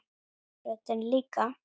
Röddin líka.